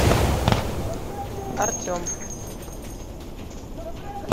артем